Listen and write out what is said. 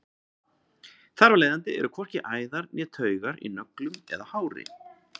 þar af leiðandi eru hvorki æðar né taugar í nöglum eða hári